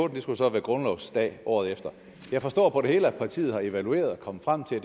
det skulle så være grundlovsdag året efter jeg forstår på det hele at partiet har evalueret og er kommet frem til at